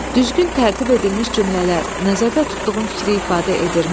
Düzgün tərtib edilmiş cümlələr nəzərdə tutduğun fikri ifadə edirmi?